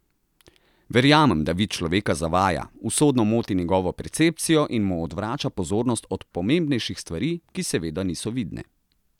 Verjamem, da vid človeka zavaja, usodno moti njegovo percepcijo in mu odvrača pozornost od pomembnejših stvari, ki seveda niso vidne.